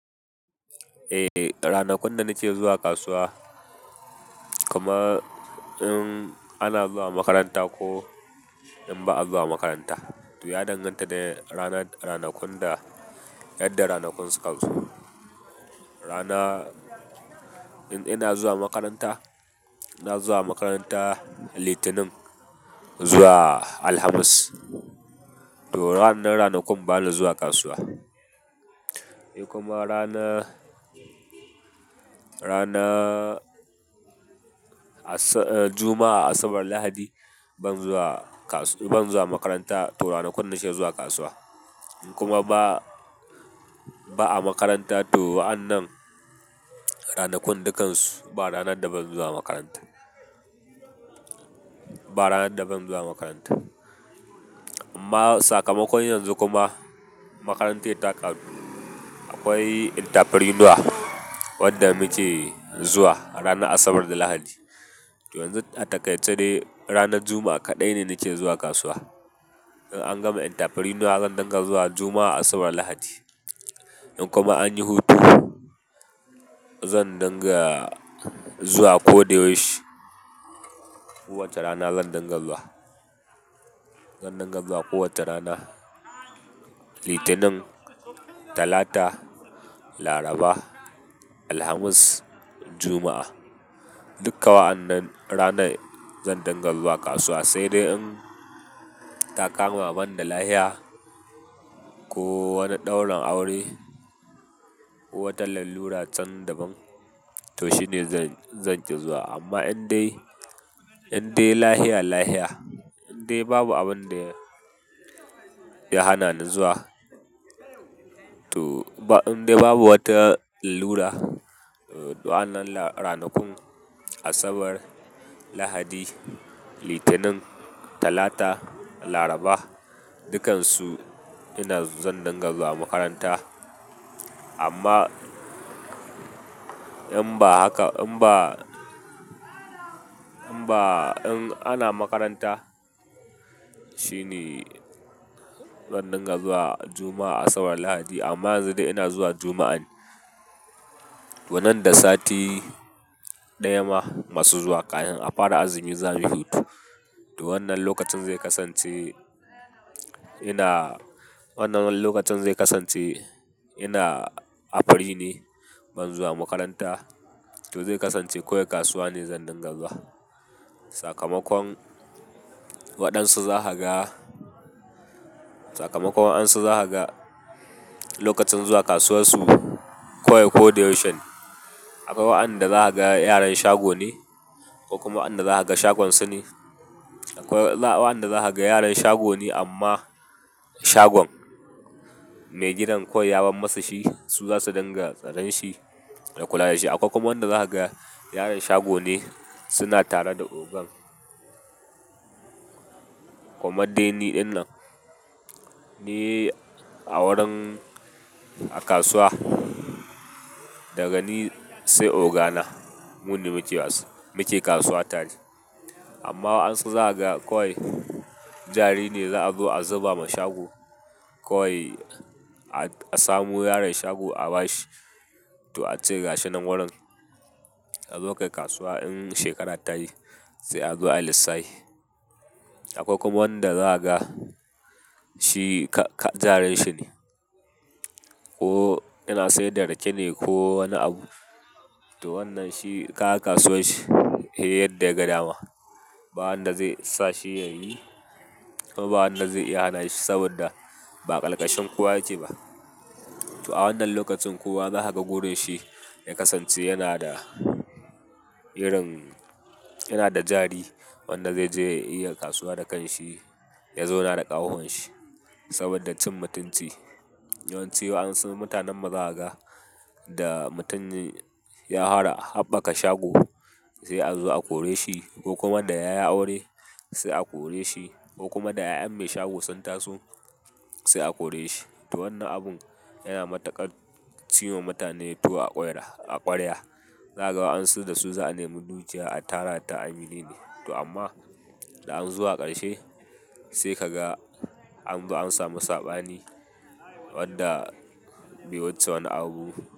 Eh, ranakun da nake zuwa kasuwa kuma in ana zuwa makaranta ko in ba a zuwa makaranta. To ya danganta da ranakun da yadda ranakun suka zo. Rana in ina zuwa makaranta, na zuwa makaranta Litinin zuwa Alhamis. To ranar ranakun bana zuwa kasuwa. Kuma rana rana a sa Juma'a Asabar Lahadi ban zuwa kasuwa ban zuwa makaranta to ranakun nake zuwa kasuwa. In kuma ba ba a makaranta to wa'annan ranakun dukansu ba ranar da ban zuwa makaranta. Ba ranar da ban zuwa makaranta. Amma sakamakon yanzu kuma makarantar ta karɓi akwai entrepreneur wanda muke zuwa ranar Asabar da Lahadi. Yanzu a takaice dai ranar Juma'a kaɗai ne nake zuwa kasuwa. In an gama entrepreneur zan dinga zuwa Juma'a Asabar Lahadi. In kuma an yi hutu zan dinga zuwa ko da yaushe kowacce rana zan dinga zuwa. Zan dinga zuwa kowacce rana Litinin, Talata, Laraba, Alhamis, Juma'a. Duka wa'annan ranar zan dinga zuwa kasuwa sai dai in ta kama ban da lahiya ko wani daurin aure, wata lallura can da ban to shine zan zanki zuwa amma in dai in dai lahia lahia in dai babu abin da ya hana ni zuwa to ba in dai babu wata lallura wa'annan ranakun Asabar, Lahadi, Litinin, Talata, Laraba dukansu ina zan dinga zuwa makaranta. Amma in ba haka in ba in ba in ana makaranta shine zan dinga zuwa Juma'a Asabar Lahadi amma yanzu dai ina zuwa Juma'a ne. To nan da sati ɗaya ma masu zuwa kahin a fara azumi za mu yi hutu. To wannan lokacin zai kasance ina wannan lokacin zai kasance ina afari ne ban zuwa makaranta to zai kasance koye kasuwa ne zan dinga zuwa. Sakamakon waɗansu za ka ga sakamakon waɗansu za ka ga lokacin zuwa kasuwar su koye koda yaushe ne. Akwai wa'andan da za ka ga yaran shago ne ko kuma wa'andan da za ka ga shagon su ne. Akwai wa'andan da za ka ga yaran shago ne amma shagon mai gidan kawai ya ban masa shi su zasu dinga tsaran shi da kula da shi. Akwai kuma wanda za ka ga yaran shago ne suna tara da ogan. Kamar dai ni ɗin nan ni a wurin a kasuwa daga ni sai oga na mu ne mu ke kasuwa tare. Amma wa'ansu za ka ga kawai jari ne za a zo a zuba ma shago kawai a samo yaron shago a ba shi to a ce gasa nan wurin a zo kai kasuwa in shekara ta yi sai a zo a lissahi. Akwai kuma wanda za ka ga shi jarin shi ne. Ko yana saida rake ne ko wani abu to wannan shi kaga kasuwashshi he yadda ya ga dama. Ba wanda zai sa shi ya yi kuma ba wanda zai iya hana shi saboda ba a kalkashin kowa yake ba. To a wannan lokacin kowa za ka ga wurin shi ya kasance yana da irin yana da jari wanda ze je ya iya kasuwa da kan shi ya zauna da ƙahwahuwan shi saboda cin mutunci. Yawance wa'ansu mutanenmu zakaga da mutum ya fara haɓaka shago sai a zo a kore shi ko kuma da ya yi aure sai a kore shi ko kuma da 'ya'yan mai shagon sun taso sai a kore shi. To wannan abun yana matukar ciwa mutane tuwo a kware a ƙwarya. Za ka ga wa'ansu da su za a nemi dukiya a tara ta a minene to amma da an zo a ƙarshe sai ka ga an ba an samu saɓani wadda be wuce wani abu.